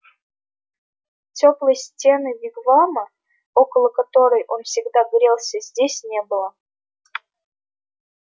тёплой стены вигвама около которой он всегда грелся здесь не было